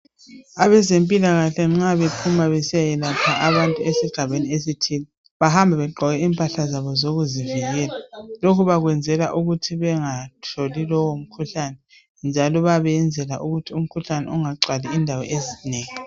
Abezempilakahle nxa bephuma besiya yelapha abantu esigabeni esithile bahamba begqoke impahla zabo zokuzivikela lokhu bakwenzela ukuthi bengatholi lowo mkhuhlane njalo bayabe beyenzela ukuthi umkhuhlane ungagcwali indawo ezinengi.